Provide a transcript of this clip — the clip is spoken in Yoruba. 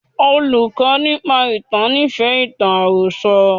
Olùkọ́ nípa ìtàn nífẹ̀ẹ́ ìtàn àròsọ.